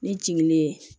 Ne jiginnen